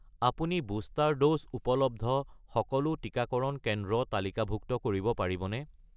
আপুনি booster doses উপলব্ধ সকলো টিকাকৰণ কেন্দ্ৰ তালিকাভুক্ত কৰিব পাৰিবনে?